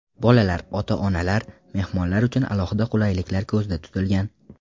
Bolalar, ota-onalar, mehmonlar uchun alohida qulayliklar ko‘zda tutilgan.